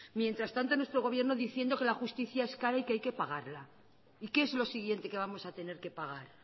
mientras tanto nuestro gobierno diciendo que la justicia es cara y que hay que pagarla y qué es lo siguiente que vamos a tener que pagar